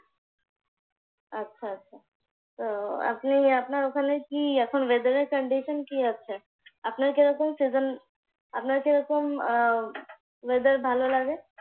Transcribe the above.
আচ্ছা আচ্ছা, তো আপনি আপনার ওখানে কি এখন weather এর condition কি আছে? আপনার কি রকম season আপনার কি রকম আহ weather ভালো লাগে?